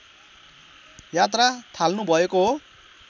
यात्रा थाल्नुभएको हो